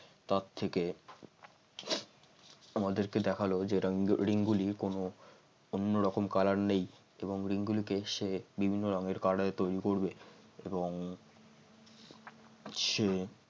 তার থেকে আমাদেরকে দেখালো ring গুলির কোন অন্য রকম কালার নেই এবং ring গুলিকে সে বিভিন্ন রকম কালারের তৈরি করবে এবং সে